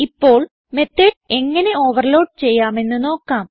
ഇപ്പോൾ മെത്തോട് എങ്ങനെ ഓവർലോഡ് ചെയ്യാമെന്ന് നോക്കാം